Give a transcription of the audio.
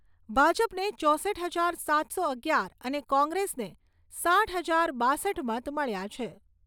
ભાજપને ચોસઠ હજાર સાતસો અગિયાર અને કોંગ્રેસને સાઈઠ હજાર બાસઠ મત મળ્યા છે.